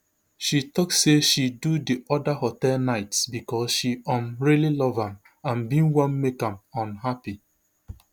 she tok say she do di oda hotel nights bicos she um really love am and bin wan make am um happy